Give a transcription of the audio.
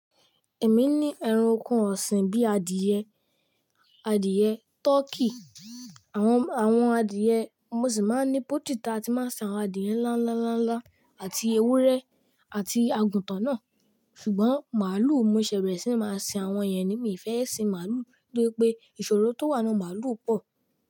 Èmi ní ẹran oko ọ̀sìn bíi adìẹ, adìẹ tọkí, àwọn, àwọn adìẹ. Mo sì máa ń ní poultry tà tí máa ń sin àwọn adìẹ ńlá, ńlá, ńlá, ńlá àti ewúrẹ́ àti àgùntàn náà. Ṣùgbọ́n màálù mo ṣẹ̀ berẹ̀ sí máa sìn àwọn yẹn ni. Mi fẹ́ sìn màálù nítorí pé ìṣòro tó wà nínú màálù pọ̀.